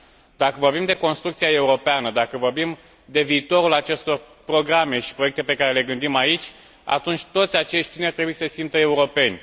Dacă vorbim de construcția europeană, dacă vorbim de viitorul acestor programe și proiecte pe care le gândim aici, atunci toți acești tineri trebuie să se simtă europeni.